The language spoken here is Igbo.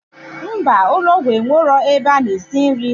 Mba, ụlọgwụ enwero ebe ana esi nri